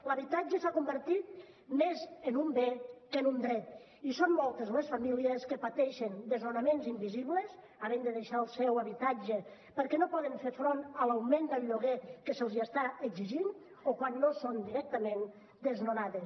l’habitatge s’ha convertit més en un bé que en un dret i són moltes les famílies que pateixen desnonaments invisibles i han de deixar el seu habitatge perquè no poden fer front a l’augment del lloguer que se’ls està exigint o quan no són directament desnonades